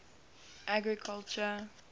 agriculture